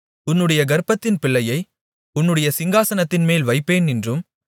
உன்னுடைய கர்ப்பத்தின் பிள்ளையை உன்னுடைய சிங்காசனத்தின்மேல் வைப்பேன் என்றும்